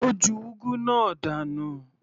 Ó ju úgú náà dànù.